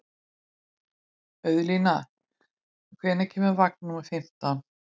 Auðlín, hvenær kemur vagn númer fimmtán?